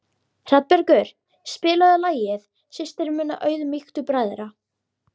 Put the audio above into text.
Hrafnbergur, spilaðu lagið „Systir minna auðmýktu bræðra“.